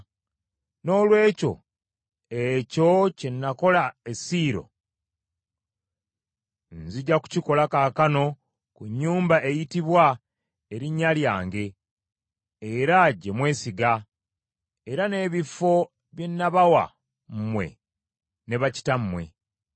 Noolwekyo, ekyo kye nakola e Siiro nzija kukikola kaakano ku nnyumba eyitibwa Erinnya lyange, era gye mwesiga, era n’ebifo bye nabawa mmwe ne bakitammwe.